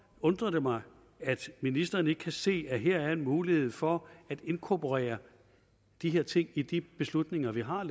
undrer det mig at ministeren ikke kan se at der her er en mulighed for at inkorporere de her ting i de beslutninger vi har